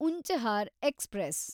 Unchahar express